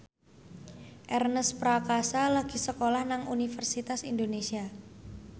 Ernest Prakasa lagi sekolah nang Universitas Indonesia